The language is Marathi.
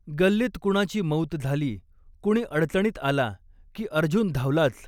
गल्लीत कुणाची मौत झाली, कुणी अडचणीत आला, की अर्जुन धावलाच.